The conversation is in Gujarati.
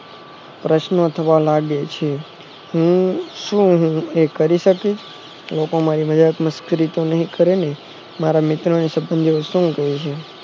પ્રશ્નો થવા લાગે છે હે શું ટુ કરી શકીશ લોકો બધા મારી જોડે મશ્કરી તો નહી કરે ને મારા મિત્રો સગલીયો શું કેશે